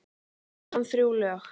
Söng hann þrjú lög.